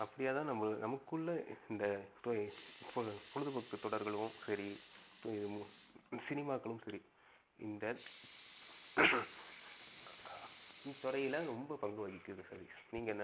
அப்படியாவது நம்ப நமக்குள்ள இந்தத்துறை பொழுது போக்கு தொடர்ளையும் சரி, சினிமாகளும் சரி இந்தத் இந்த துறைல ரொம்ப பங்கு வகிகிறது